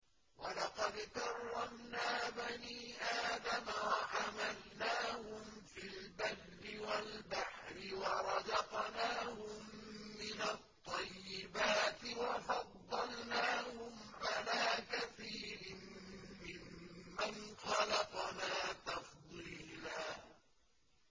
۞ وَلَقَدْ كَرَّمْنَا بَنِي آدَمَ وَحَمَلْنَاهُمْ فِي الْبَرِّ وَالْبَحْرِ وَرَزَقْنَاهُم مِّنَ الطَّيِّبَاتِ وَفَضَّلْنَاهُمْ عَلَىٰ كَثِيرٍ مِّمَّنْ خَلَقْنَا تَفْضِيلًا